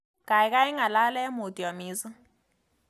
Gaigai ngalal eng mutyo mising